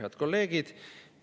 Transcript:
Head kolleegid!